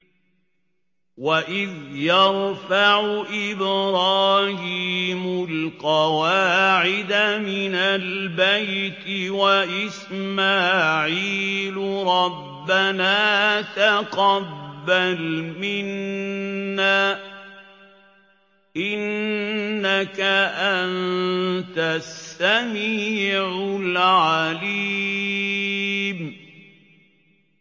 وَإِذْ يَرْفَعُ إِبْرَاهِيمُ الْقَوَاعِدَ مِنَ الْبَيْتِ وَإِسْمَاعِيلُ رَبَّنَا تَقَبَّلْ مِنَّا ۖ إِنَّكَ أَنتَ السَّمِيعُ الْعَلِيمُ